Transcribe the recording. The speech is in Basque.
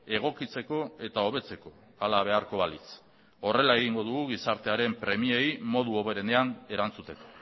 egokitzeko eta hobetzeko hala beharko balitz horrela egingo dugu gizartearen premiei modu hoberenean erantzuteko